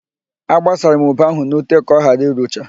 Agbasara m ube ahụ n'ute ka ọghara irucha.